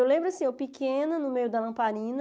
Eu lembro assim, eu pequena, no meio da lamparina,